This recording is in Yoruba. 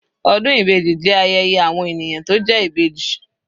Ọdún ibeji jẹ́ ayẹyẹ àwọn ènìyàn tó jẹ́ Ìbejì.